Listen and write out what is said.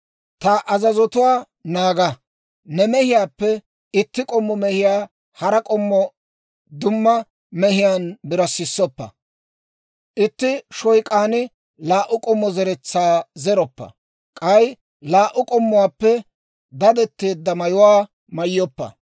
« ‹Ta azazotuwaa naaga. « ‹Ne mehiyaappe itti k'ommo mehiyaa hara k'ommo dumma mehiyaan birassissoppa. « ‹Itti shoyk'aan laa"u k'ommo zeretsaa zeroppa. « ‹K'ay laa"u k'ommuwaappe dadetteedda mayuwaa mayyoppa.